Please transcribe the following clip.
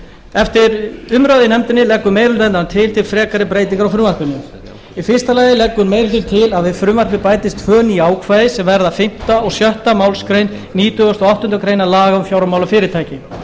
eftir umræðu í nefndinni leggur meiri hluti hennar til frekari breytingar á frumvarpinu í fyrsta lagi leggur meiri hlutinn til að við frumvarpið bætist tvö ný ákvæði sem verða fimmti og sjöttu málsgrein nítugasta og áttundu grein laga um fjármálafyrirtæki